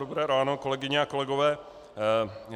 Dobré ráno, kolegyně a kolegové.